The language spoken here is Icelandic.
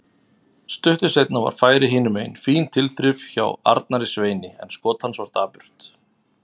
Stuttu seinna var færi hinumegin, fín tilþrif hjá Arnari Sveini en skot hans var dapurt.